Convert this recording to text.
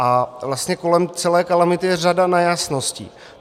A vlastně kolem celé kalamity je řada nejasností.